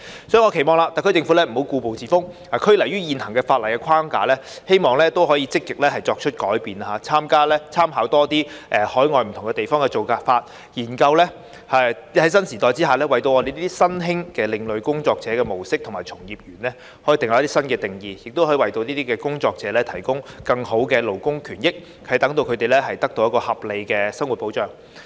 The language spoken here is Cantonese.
所以，我期望特區政府不要故步自封，拘泥於現行法例框架，希望可以積極作出改變，多參考海外不同地方的做法，研究在新時代下為新興的另類工作者的模式和從業員訂立新定義，為這些工作者提供更好的勞工權益，使他們獲得合理生活保障。